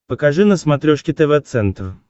покажи на смотрешке тв центр